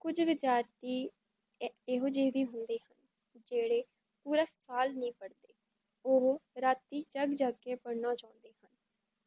ਕੁਝ ਵਿੱਦੀਆਰਥੀ ਏਹੋ ਜੇਹੇ ਵੀ ਹੁੰਦੇ ਹਨ ਜੇੜੇ ਪੂਰਾ ਸਾਲ ਨਹੀਂ ਪੜ੍ਹਦੇ ਓਹੋ ਰਾਤੀ ਜੱਗ ਜੱਗ ਕੇ ਪੜ੍ਹਨਾ ਚਾਹੁੰਦੇ ਹਨ,